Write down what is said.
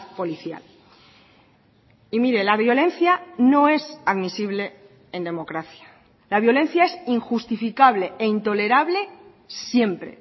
policial y mire la violencia no es admisible en democracia la violencia es injustificable e intolerable siempre